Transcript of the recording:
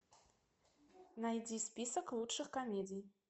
найди список лучших комедий